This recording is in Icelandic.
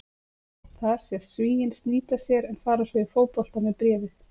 Þar sést Svíinn snýta sér en fara svo í fótbolta með bréfið.